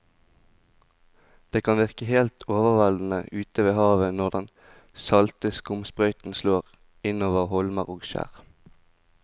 Det kan virke helt overveldende ute ved havet når den salte skumsprøyten slår innover holmer og skjær.